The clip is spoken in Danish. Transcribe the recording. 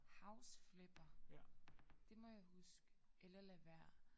House Flipper det må jeg huske eller lade være